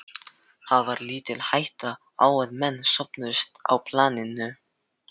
Það var lítil hætta á að menn sofnuðu á planinu.